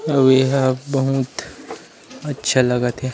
अउ एहा बहुत अच्छा लगत हे ।